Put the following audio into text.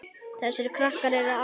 Þessir krakkar eru allir eins.